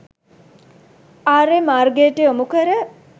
ආර්ය මාර්ගයට යොමු කර